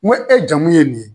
N ko e jamu ye nin ye.